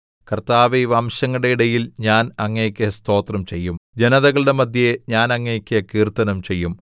കർത്താവേ വംശങ്ങളുടെ ഇടയിൽ ഞാൻ അങ്ങേക്ക് സ്തോത്രം ചെയ്യും ജനതകളുടെ മദ്ധ്യേ ഞാൻ അങ്ങേക്ക് കീർത്തനം ചെയ്യും